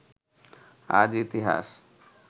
আজ ইতিহাস